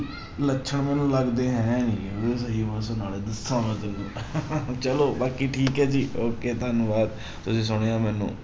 ਲੱਛਣ ਮੈਨੂੰ ਲੱਗਦੇ ਹੈ ਨੀ ਗੇ ਉਹਦੇ ਸਹੀ ਚਲੋ ਬਾਕੀ ਠੀਕ ਹੈ ਜੀ ਓਕੇ ਧੰਨਵਾਦ, ਤੁਸੀ ਸੁਣਿਆ ਮੈਨੂੰ।